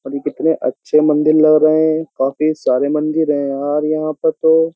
और ये कितने अच्छे मंदिर लग रहे हैं काफी सारे मंदिर हैं यार यहाँ पे तो।